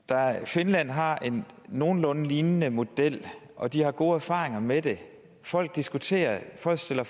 finland har en nogenlunde lignende model og de har gode erfaringer med det folk diskuterer det folk stiller